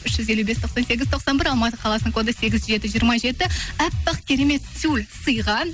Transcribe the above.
үш жүз елу бес тоқсан сегіз тоқсан бір алматы қаласының коды сегіз жеті жиырма жеті әппақ керемет тюль сыйға